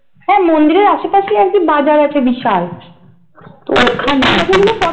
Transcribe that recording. হ্যাঁ মন্দিরের আশেপাশেই আর কি বাজার আছে বিশাল তো ওখান